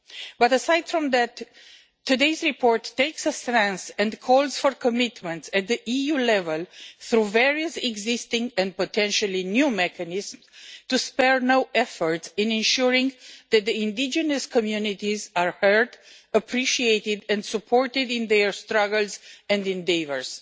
But, aside from that, today's report takes a stance and calls for commitments at EU level, through various existing and potentially new mechanisms, to spare no effort in ensuring that indigenous communities are heard, appreciated and supported in their struggles and endeavours.